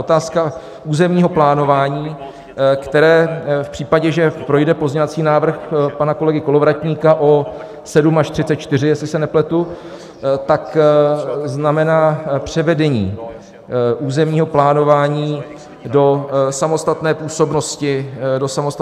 Otázka územního plánování, která v případě, že projde pozměňovací návrh pana kolegy Kolovratníka O7 až 34, jestli se nepletu, tak znamená převedení územního plánování do samostatné působnosti obcí a měst.